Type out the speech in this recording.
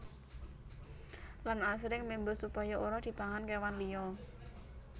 Lan asring memba supaya ora dipangan kéwan liya